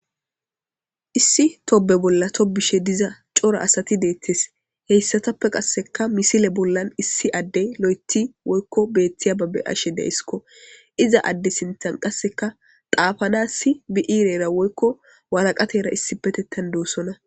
issi tobe bolla tobishe diza cora asati deettes heyssatappe qasseka misile bollan issi adde lo7eti woykko beettiya babbe ashe deisskko iza adde sintan qasseka daafanassi biiirera woykko walaqatera issi petettan doossona